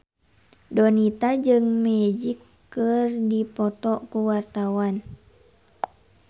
Donita jeung Magic keur dipoto ku wartawan